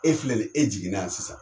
E filɛ ni ye , e jiginna sisan,